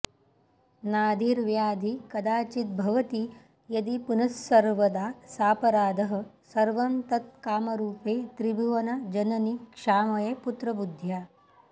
नाधिर्व्याधि कदाचिद्भवति यदि पुनस्सर्वदा सापराधः सर्वं तत् कामरूपे त्रिभुवन जननि क्षामये पुत्र बुद्ध्या